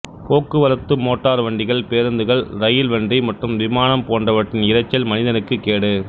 போக்குவரத்து மோட்டார் வண்டிகள் பேருந்துகள் இரயில் வண்டி மற்றும் விமானம் போன்றவற்றின் இரைச்சல் மனிதனுக்கு கேடு